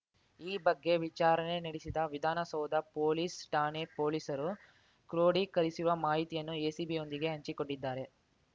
ಈ ಬಗ್ಗೆ ವಿಚಾರಣೆ ನಡೆಸಿದ ವಿಧಾನಸೌಧ ಪೊಲೀಸ್‌ ಠಾಣೆ ಪೊಲೀಸರು ಕ್ರೋಢೀಕರಿಸುವ ಮಾಹಿತಿಯನ್ನು ಎಸಿಬಿಯೊಂದಿಗೆ ಹಂಚಿಕೊಂಡಿದ್ದಾರೆ